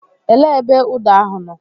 Elee ebe ụda ahụ nọ?